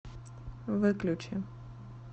выключи